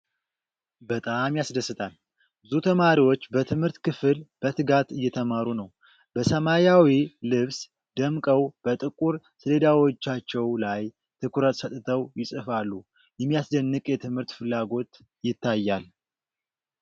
በጣም ያስደስታል! ብዙ ተማሪዎች በትምህርት ክፍል በትጋት እየተማሩ ነው። በሰማያዊ ልብስ ደምቀው በጥቁር ሰሌዳዎቻቸው ላይ ትኩረት ሰጥተው ይጽፋሉ። የሚያስደንቅ የትምህርት ፍላጎት ይታያል።